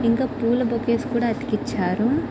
ఇంకా పూల బొకేస్ కూడా అతికించారు.